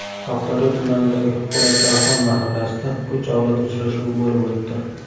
Oqdaryo tumanidagi Po‘latdarxon mahallasida uch avlod uchrashuvi bo‘lib o‘tdi.